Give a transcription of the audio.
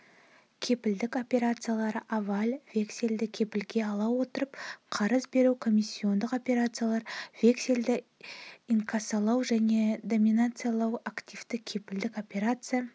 кепілдік операциялары аваль вексельді кепілге ала отырып қарыз беру коммиссиондық операциялар вексельді инкассалау және домициляция активтік-кепілдік операция